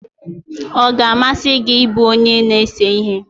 ọ ga-amasị gị ịbụ onye na-ese ihe?